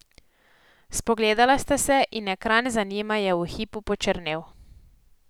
Spogledala sta se in ekran za njima je v hipu počrnel.